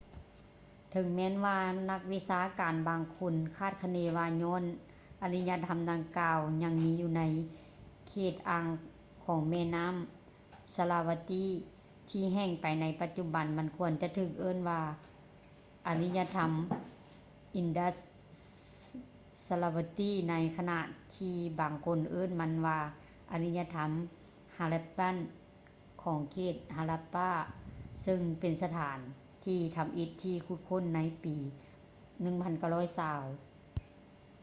ເຖິງແມ່ນວ່າ ນັກວິຊາການບາງຄົນຄາດຄະເນວ່າຍ້ອນອາລິຍະທຳດັ່ງກ່າວຍັງມີຢູ່ໃນເຂດອ່າງຂອງແມ່ນໍ້າ sarasvati ທີ່ແຫ້ງໄປໃນປະຈຸບັນ ມັນຄວນຈະຖືກເອີ້ນວ່າເປັນອາລິຍະທຳ indus-sarasvati ໃນຂະນະທີ່ບາງຄົນເອີ້ນມັນວ່າອາລິຍະທຳ harappan ຂອງເຂດ harappa ເຊິ່ງເປັນສະຖານທີ່ທຳອິດທີ່ຖືກຂຸດຄົ້ນໃນຊຸມປີ 1920